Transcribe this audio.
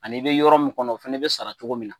Ani i be yɔrɔ min kɔnɔ o fɛnɛ be sara cogo min na